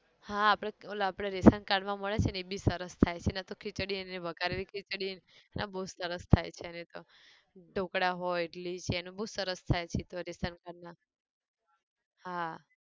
હા આપણે ઓલા ration card માં મળે છે ન એ બી સરસ થાય છે ને તો ખીચડી એની વઘારેલી ખીચડી બઉ જ સરસ થાય છે એની તો, ઢોકળા હોય ઈડલી છે એનું બઉ સરસ થાય છે તો ration card ના, હા